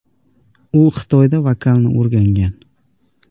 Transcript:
U Xitoyda vokalni o‘rgangan.